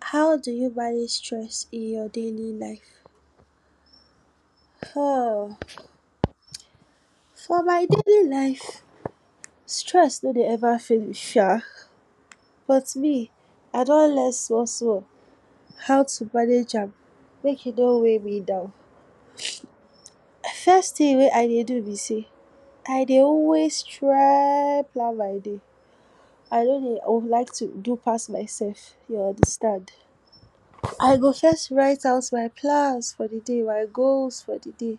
How do you manage stress in your daily life. um for my daily life stress no dey ever finish sha but me I don learn small small how to manage am make e no weigh me down, first thing wey I dey do be sey I dey always try plan my day, I no dey like to do pass myself you understand. I go first write out my plans for di day my goals for di day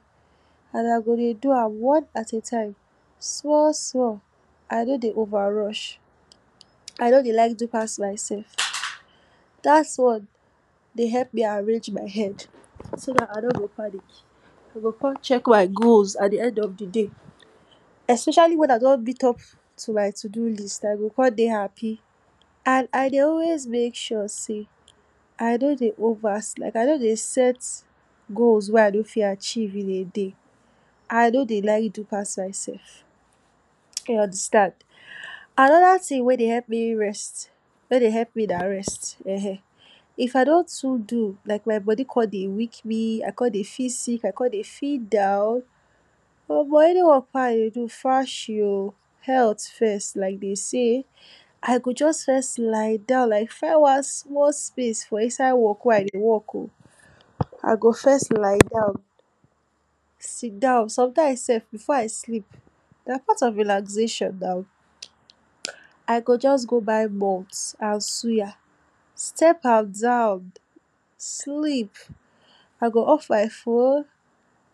and I go dey do am one at a time, small small I no dey over rush, I no dey like do pass myself dat one dey help me arrange my head so dat I no go panic, I go come check my goals at di end of di day.especially when I don meet up to my to do list I go come dey happy, and I dey always make sure sey I no dey over, I no dey set goals wey I no fit achieve in a day, I no dey like do pass myself you understand. Another thing wey dey help me rest, wey dey help me na rest, if I don too do like my body come dey weak me, I come dey feel sick I come dey feel down, omo any work wey I dey do fashi um health first like dey say. I go just first lie down find one small space for inside work wey I dey work um I go first lie down, sit down sometimes sef before I sleep na part of relaxation now I go just go buy malt and suya, step am down, sleep, I go off my phone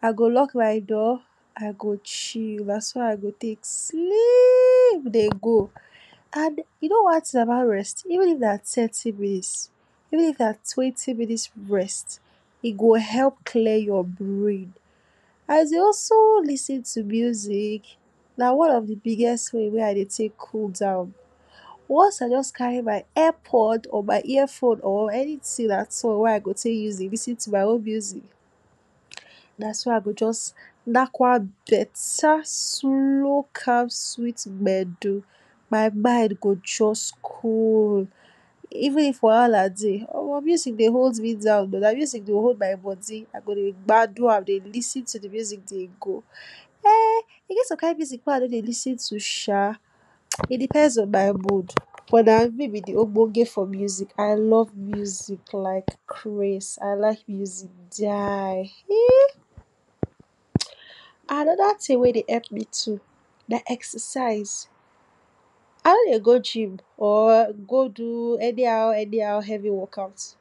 I go lock my door. I go chill na so I go take sleep dey go, and you know one thing about rest even if na thirty minutes even if na twenty minutes rest, e go help clear your brain, I dey also lis ten to music, na one of de biggest way wey I dey take cool down. Once I just carry my ear pond or my head phone or my anything at all wey I go take use dey lis ten to my own music dat why I just knack one better slow, calm sweet gbedu, my mind go just cool, even if wahala dey omo person dey omo music dey hold me down um music dey hold body I go dey gbadu and dey lis ten to de music dey go. um e get some kind music wen I no dey lis ten to sha e depends on my mood, but na me be de ogboge for music I love music like craze I like music die um. Another thing wey dey help me na exercise I no dey go gym or go do anyhow anyhow heavy work out,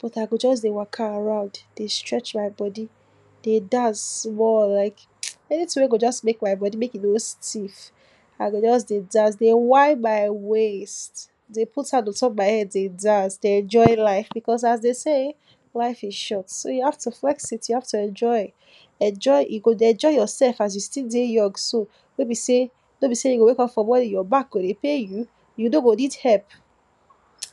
but I go just dey waka around dey stretch my body, dey dance small like anything wey go just make my body make e no stiff, I go just dey dance dey whine my waist, dey put hand on top my head dey dance dey enjoy life because as dey say life is short so you have to flex it you have to enjoy, enjoy you go dey enjoy yourself as you still dey young so no be sey you go wake up for morning your back go dey pain you, you no go need help.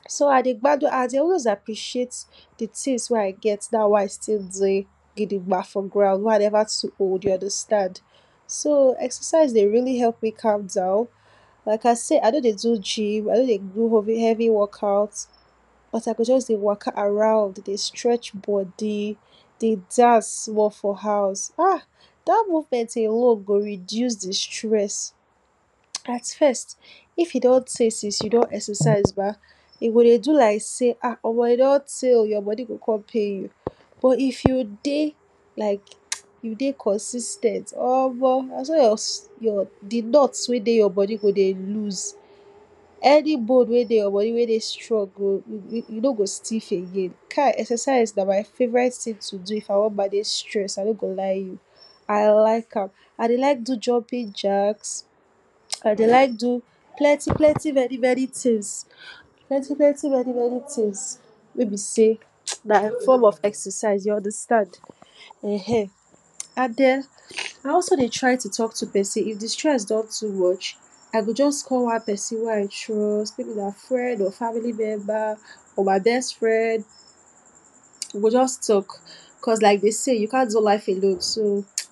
So I dey gbadu I dey always dey appreciate de things wey I get now wey I still dey digba for ground wey I never too old you understand. So exercise dey really help me calm down like I said, I no dey do gym I no dey do heavy heavy work out, as I go just dey waka around dey stretch body dey dance small for house um dat movement alone go reduce de stress, at first if e don tey since you exercise your self ba e go dey do like sey omo e don tey um your body go come pain you, but if you dey like, you dey like you dey consis ten t omo na so di nuts wey dey your body go dey lose. Any bone wey dey your body wey dey strong go go e no go stiff again exercise na my favourite things to do if I wan manage stress I like am, I dey like do jumping jacks, I dey like do plenty plenty many things, plenty plenty many things wey be sey na di form of exercise you understand, um and den I also dey try to talk to person if de stress don too much, I go just call one person wey I trust, friend or family members or my best friend, we go just talk just like dey say you can’t do life alone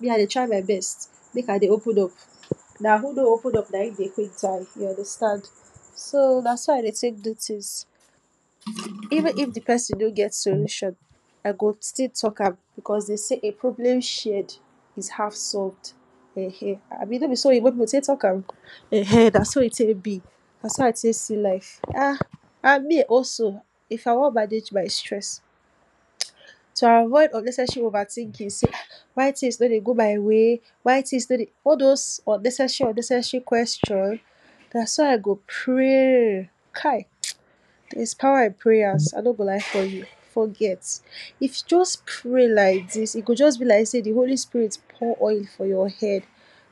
me I dey try my best make I dey open up.na who no open up na dey quick die you understand. So na so I dey take do things. Even if de person no get solution I go still talk am because dey say a problem shared is half solved um abi no be so oyibo pipu take talk am, um na so e take be, naso I take see life um and me also if I wan manage my stress to avoid unnecessary overthinking sey why things no dey go my way, why things all those unnecessary unnecessary questions. Naso I go pray kai there is power in prayers I no go lie for you forget if you just pray like dis e go just be like sey di holy spirit pour oil for your head,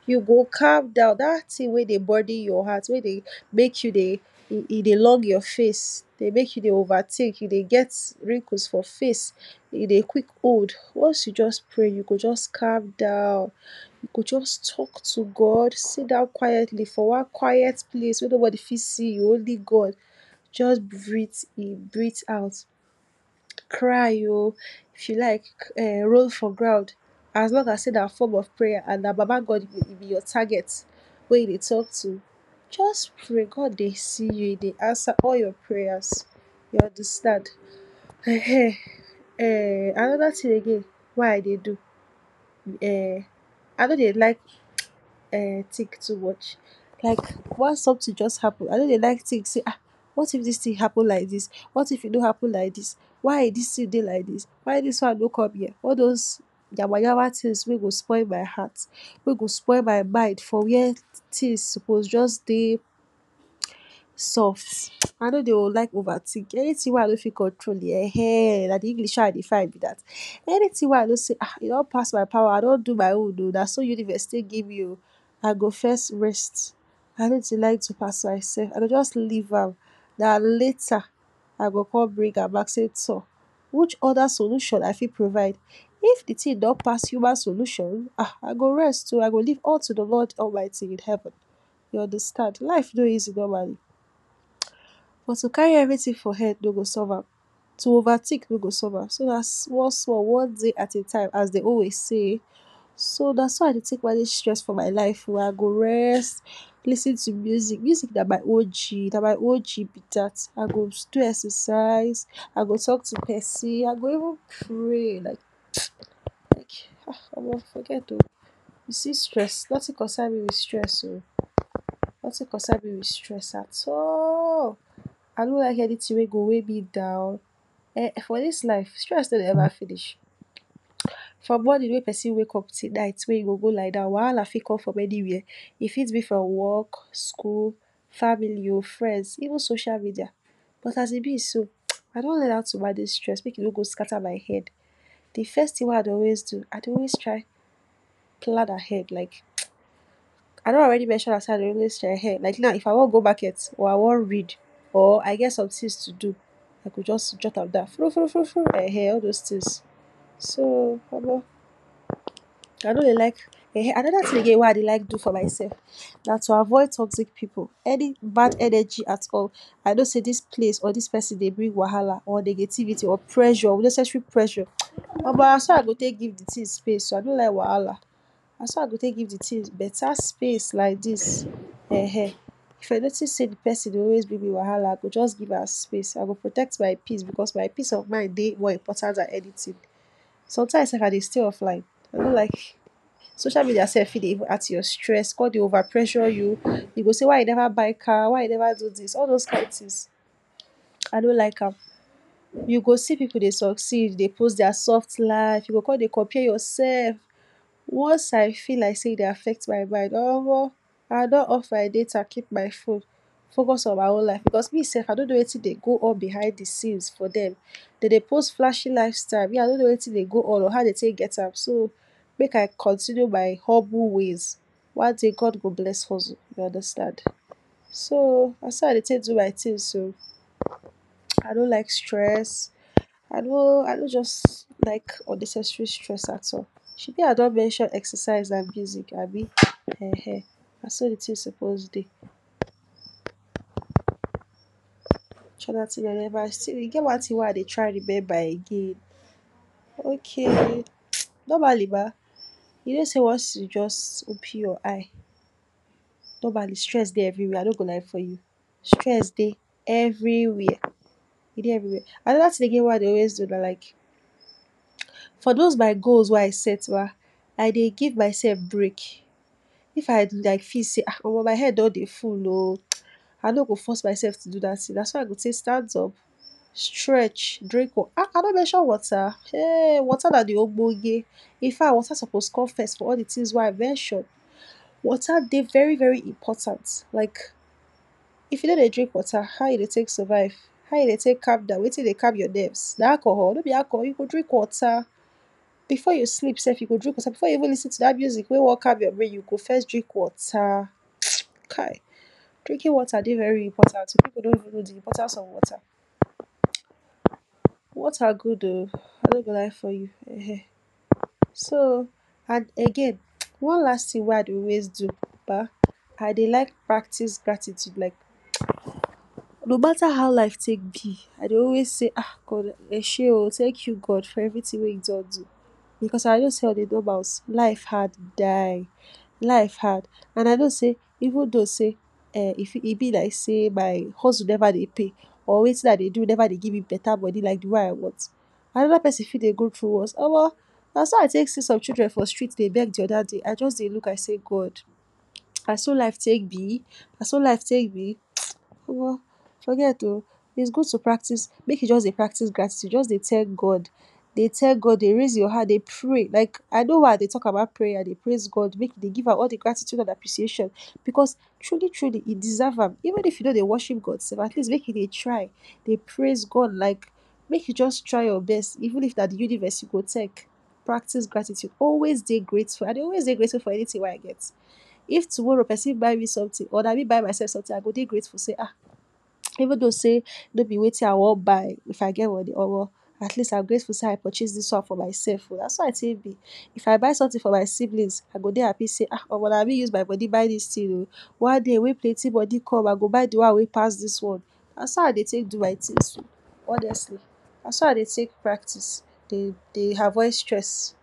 you go calm down that thing wey dey burden your heart wey dey make you dey, e dey long your face dey make you dey overthink you dey get wrinkles for face, you dey quick old once you just pray you go just calm down. You go just talk to God sit down quietly for one quiet place wey nobody fit see you only God, just breathe in breathe out, cry um if you like roll for ground as long as na form of prayer and na baba God you be your target, wey you dey talk to, just pray God dey see you e dey answer all your prayers, you understand um. Another thing again wey I dey do um I no dey like um think too much like once something just happen I no dey like think sey um what if dis thing happen like dis, what if e no happen like dis, why dis thing dey like dis why disone no come be am, all dis kind yama yama things wey go spoil my heart, wey go spoil my mind for where things suppose just dey soft I no dey like over think, anything wey I no fit control um na de English wey I dey find be dat anything wey I know sey um e don pass my power, I don do my own um na so universe take give me um I go first rest I no dey like do pass my self I go just leave am na later I go come bring am back say tor which other solution I fit provide, If de thing don pass human solution I go leave all to de lord God almighty in heaven, you understand life no easy normally but to carry everything for head no go solve am, to overthink no go solve am so na small small one day at a time as dey always say, so naso I dey take manage stress for my life I go rest lis ten to music, music na my og na my og be dat I go do exercise, I go talk to person I go even pray like omo forget um you see stress nothing concern me with stress um nothing concern me with stress at all, I no wan hear anything wey go weigh me down for dis life stress no dey ever finish, from morning wey person wake up till night wey e go go lie down wahala fit come from anywhere, e fit be from work, school, family um friends even social media, but as e be so I don learn how to manage stress make e no go scatter my head, de first thing wey I dey always do I dey always try plan ahead um. I don already mention am say sey, like na if I wan go market or I wan read or I get some things to do I go just jot am down um all those things, so omo I no dey like, um another thing again wey I dey like do for my self na to avoid toxic pipu any bad energy at all. I know sey dis place or dis person dey bring wahala or negativity or pressure relationship pleasure, omo na so I go take give de thing space um I no like wahala na so I go take give de thing better space like dis um if I notice sey di person dey always give me wahala I go just give am space I go protect my peace because my peace of mind dey more important than anything. Sometimes sef I dey stay offline I no like, social media self fit dey add to your stress come dey over pressure you e go say why you never buy car, why you never do dis all those kind things. i no like am. You go see pipu dey succeed dey post their soft life you go come dey compare yourself. Once I feel like sey e dey affect my mind omo I don off my data keep my phone focus on my own life cause me self I no know wetin dey go on behind se scenes for dem. Dem dey post flashy life style but me I no know wetin dey go on um I no know how dem take get am make I continue my humble ways one day God go bless hustle you understand, so naso I dey take do my things um I no like stress I no I no just like unnecessary stress at all, shebi I don mention exercise and music abi um na so de thing suppose dey. um e get one thing wey suppose, e get one thing wey I dey try remember again okay normally ba you know sey once you just open your eye normally stress dey every where I no go lie for you, stress dey every where. Another thing agai n wey I dey always do na like for those my goals wey I set ba I dey give myself break, if I feel sey omo my head don dey full um I no go force myself to do dat thing na so I go take stand up, stretch, drink water um I no mention water damn water na de ogboge infact water suppose come first for all de thing wey I mention. Water dey very very important like if you no dey drink water how you go take survive, how you go take calm down wetin dey calm your nerves, na alcohol no be alcohol you go drink water, before you sleep self you go drink water before you even lis ten to dat music wey wan calm your brain you go first drink water, kai drinking water dey very important pipu no know de importance of water, water good um I no good lie for you um. So and again one last thing wey I dey always do ba I dey like practice gratitude like though matter how life take be I dey always sey um God eshey o thank you God for everything wey you don do, because I know sey on a normal life hard, die life hard and I know sey even though sey if e be like sey my hustle never dey pay or wetin I dey do never dey give me better money like wetin I want, another person fit dey go through worst omo na so I take see some children for street dey beg de other day I say God naso life take be, naso life take be omo forget um is good to practice, make you just dey practice gratitude just dey tell God dey tell God dey raise your hand dey pray like I know why I dey talk about prayer dey praise God make you just dey give am all de gratitude and appreciation because truly truly e deserve am even if you nop dey worship God sef make you dey try dey praise God like make you just try your best even if na de universe you go thank. Practice gratitude always dey grateful I dey always dey grateful for anything wey I get. If tomorrow person buy me something or na me buy myself something I go dey grateful sey um even though sey nor be wetin I wan buy if I get money omo I go dey grateful sey I purchase dis one for myself um na so I take be. If I buy something for my siblings I go dey happy sey omona me use my money buy dis thing um one day wey plenty money come I go buy de one wey pass dis one[um]. Naso I dey take do my things um honestly, naso I dey take practice dey avoid stress.